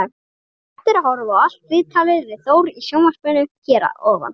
Hægt er að horfa á allt viðtalið við Þór í sjónvarpinu hér að ofan.